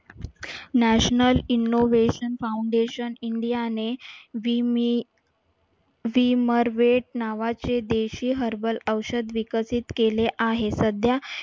national innovation foundation India ने विम विमरवेट नावाचे देशी herbal औषध विकसित केले आहे. सध्या